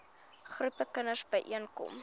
groepe kinders byeenkom